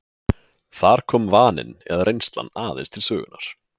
Þar komi vaninn eða reynslan aðeins til sögunnar.